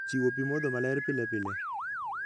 Chiwo pi modho maler pile pile.